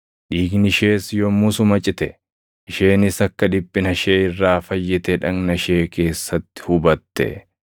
Dhiigni ishees yommusuma cite; isheenis akka dhiphina ishee irraa fayyite dhagna ishee keessatti hubatte.